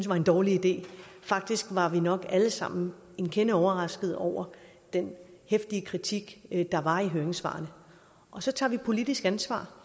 var en dårlig idé faktisk var vi nok alle sammen en kende overrasket over den heftige kritik der var i høringssvarene så tager vi politisk ansvar